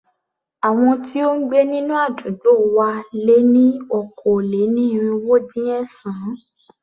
Àwọn tí ó ń gbé nínú àdúgbò wa lé ní okòó-lé-ní-irínwó-dín-ẹ̀sán.